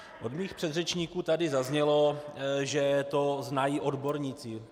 Od mých předřečníků tady zaznělo, že to znají odborníci.